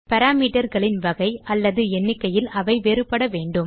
parameterகளின் வகை அல்லது எண்ணிக்கையில் அவை வேறுபடவேண்டும்